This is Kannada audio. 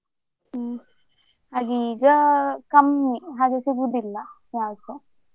ಹ್ಮ್ ಹಾಗೆ ಈಗ ಕಮ್ಮಿ ಹಾಗೆ ಸಿಗುದಿಲ್ಲ job ಸ.